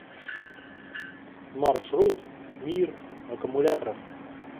маршрут мир аккумуляторов